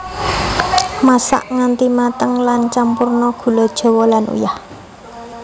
Masak nganti mateng lan campurna gula jawa lan uyah